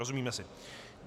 Rozumíme si.